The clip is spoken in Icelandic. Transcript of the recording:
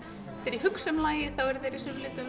þegar ég hugsa um lagið þá eru þeir í